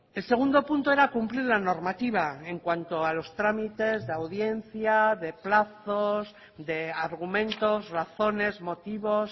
el segundo punto era cumplir la normativa en cuanto a los trámites de audiencia de plazos de argumentos razones motivos